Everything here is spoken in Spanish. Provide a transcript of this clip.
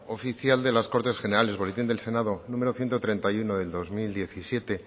oficial de las cortes generales boletín del senado número ciento treinta y uno del dos mil diecisiete